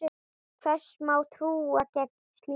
Hvers má trú gegn slíku?